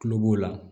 Tulo b'o la